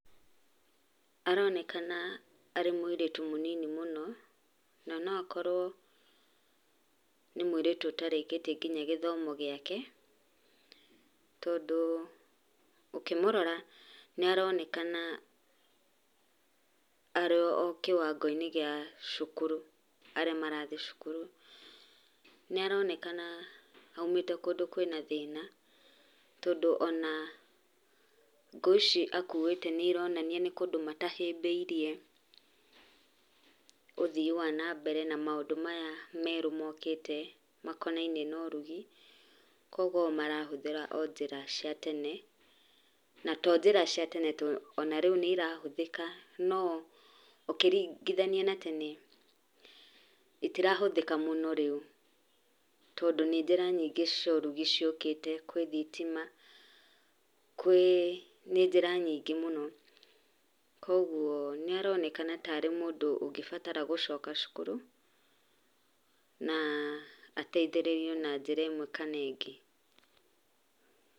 Aronekana arĩ mũirĩtu mũnini mũno na no akorwo nĩ mũirĩtũ ũtarĩkĩtie nginya gĩthomo gĩake tondũ ũkĩmũrora nĩaronekana arĩ o kĩwango-inĩ gĩa cukuru aríĩ marathi cukuru. Niaronekana aumĩte kũndũ kwĩna thĩna tondũ ona ngũũ ici akuĩte nĩironania nĩ kũndũ matahĩmbĩirie ũthii wa nambere na maũndũ maya merũ mokĩte makonainie na ũrugi kwogo o marahũthĩra o njĩra cia tene na to njĩra cia tene to ona rĩu nĩirahũthĩka nó ũkĩringithania na tene itirahũthĩka mũno rĩu tondũ nĩ njĩra nyingĩ cia ũrugi ciokĩte kwi thitima nĩ njĩra nyingĩ mũno kwa ũguo nĩaronekana tarĩ mũndũ ũngĩbatara gũcoka cukuru na ateithĩrĩrio na njĩra ĩmwe kana ĩngĩ.